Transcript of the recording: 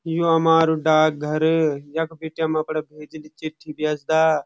यु हमारू डाक घर यख बीटी हम अपड़ा भेजी न चिट्ठी भेज्दा।